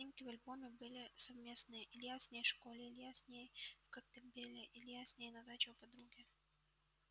все снимки в альбоме были совместные илья с ней в школе илья с ней в коктебеле илья с ней на даче у подруги